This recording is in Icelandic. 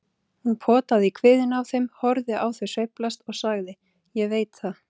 Hún potaði í kviðinn á þeim, horfði á þau sveiflast og sagði: Ég veit það.